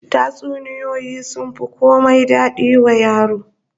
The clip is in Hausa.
Tatsuniyoyi sun fi komai dadi wa yaro